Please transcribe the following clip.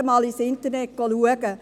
Schauen Sie einmal im Internet nach.